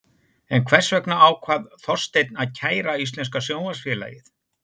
En hvers vegna ákvað Þorsteinn að kæra Íslenska Sjónvarpsfélagið?